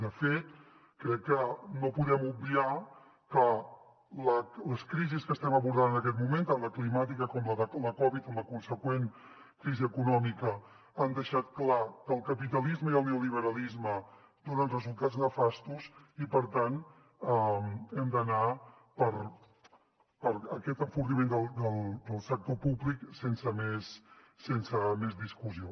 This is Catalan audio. de fet crec que no podem obviar que les crisis que estem abordant en aquest moment tant la climàtica com la de la covid amb la consegüent crisi econòmica han deixat clar que el capitalisme i el neoliberalisme donen resultats nefastos i per tant hem d’anar per aquest enfortiment del sector públic sense més discussió